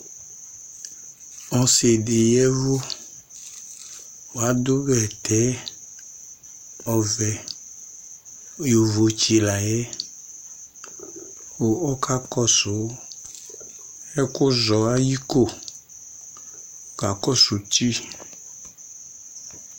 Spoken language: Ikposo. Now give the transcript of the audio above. Ɔsi dɩ ya ɛvʋ ,adʋ bɛtɛ ɔvɛ Yovotsɩ la yɛ ,ɔka kɔsʋ ɛkʋzɔ ay'iko ,kakɔsʋ uti